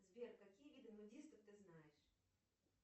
сбер какие виды нудистов ты знаешь